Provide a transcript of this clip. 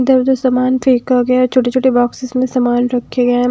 इधर उधर सामान फेंका गया छोटे छोटे बॉक्सेस सामान रखे गए हैं।